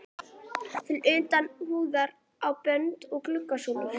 til utan húðunar á bönd og glugga súlur.